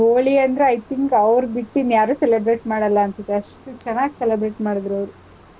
ಹೋಳಿ ಅಂದ್ರೆ I think ಅವ್ರ್ ಬಿಟ್ ಇನ್ಯಾರೂ celebrate ಮಾಡಲ್ಲಾನ್ಸತ್ತೆ, ಅಷ್ಟ್ ಚೆನಾಗ್ celebrate ಮಾಡುದ್ರವ್ರು